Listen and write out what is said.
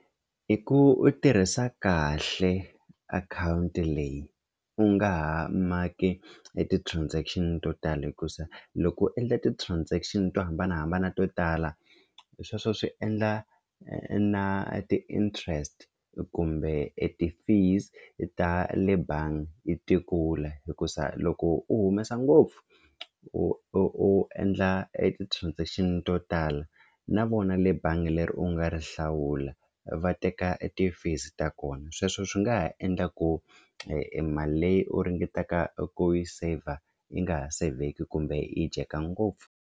I ku u tirhisa kahle akhawunti leyi u nga ha maki e ti-transaction to tala hikuza loko u endla ti-transaction to hambanahambana to tala sweswo swi endla na ti-interest kumbe e ti-fees ta le bangi ti kula hikuza loko u humesa ngopfu u u u endla e ti-transaction to tala na vona le bangi leri u nga ri hlawula va teka ti-fees ta kona sweswo swi nga ha endla ku e e mali leyi u ringetaka ku yi saver yi nga ha sevheki kumbe yi dyeka ngopfu.